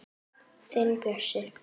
Þinn Bjössi.